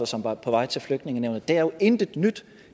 som er på vej til flygtningenævnet det er jo intet nyt